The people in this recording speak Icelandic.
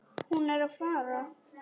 Hún er að fara.